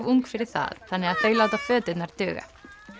ung fyrir það þannig þau láta föturnar duga